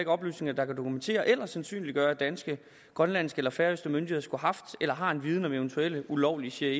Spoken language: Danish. oplysninger der dokumenterer eller sandsynliggør at danske grønlandske og færøske myndigheder skulle have haft eller har en viden om eventuelle ulovlige cia